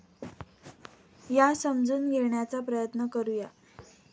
या समजून घेण्याचा प्रयत्न करू या.